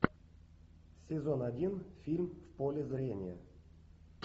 сезон один фильм в поле зрения